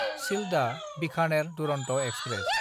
सिल्डआ–बिखानेर Duronto express